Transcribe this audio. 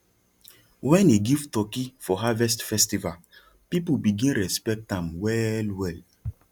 when he give turkey for harvest festival people begin respect am wellwell